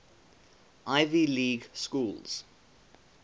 ivy league schools